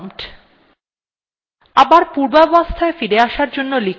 এখন আপনার usernameis আপনার prompt